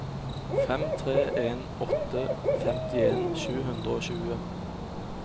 fem tre en åtte femtien sju hundre og tjue